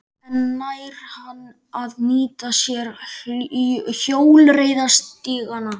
En nær hann að nýta sér hjólreiðastígana?